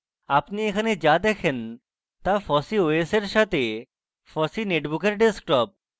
আপনি এখানে যা দেখেন তা fossee os এর সাথে fossee নোটবুকের desktop